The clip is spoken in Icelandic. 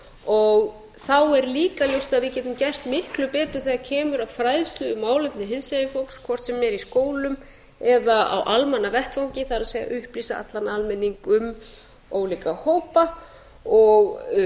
og þá er líka ljóst að við getum gert miklu betur þegar kemur að fræðslumálefnum hinsegin fólks hvort sem er í skólum eða á almannavettvangi það er upplýst allan almenning um ólíka hópa og